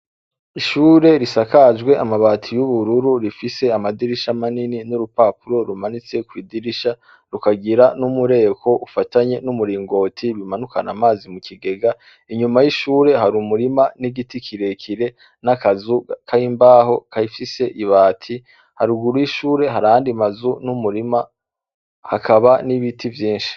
Ishure risakajwe amabati yubururu rifise amadirisha minini nurupapuru rumanitse kwidirisha rukagira numureko ufatanye numuringoti bimanukana amazi mukigega, inyuma yishure hari umurima n'igiti kirekire n'akazu kimbaho gafise ibati haruguru yishure harayandi mazu n'umurima hakaba n'ibiti vyinshi.